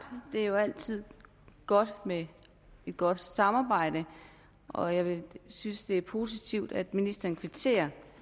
det er jo altid godt med et godt samarbejde og jeg synes det er positivt at ministeren kvitterer